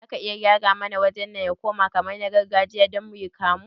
Zaki iya gyara mana wajen nan ya koma kamar na gargajiya don muyi kamu?